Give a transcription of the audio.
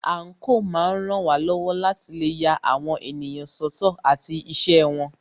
Àńkò máa ń ràn wá lọ́wọ́ láti lè ya àwọn ènìyàn sọ́tọ̀ àti iṣẹ́ wọn.